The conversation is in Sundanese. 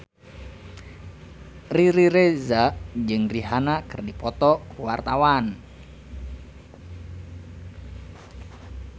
Riri Reza jeung Rihanna keur dipoto ku wartawan